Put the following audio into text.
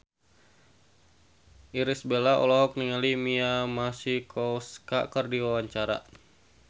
Irish Bella olohok ningali Mia Masikowska keur diwawancara